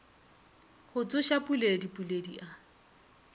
go tsoša puledi puledi a